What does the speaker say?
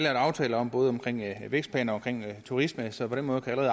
aftaler om både om vækstplaner og turisme så på den måde kan